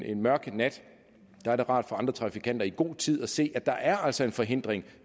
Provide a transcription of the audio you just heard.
en mørk nat så er det rart for andre trafikanter i god tid kan se at der altså er en forhindring